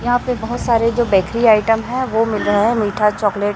यहां पे बहोत सारे जो बेकरी आइटम है वो मिल रहे हैं मीठा चॉकलेट --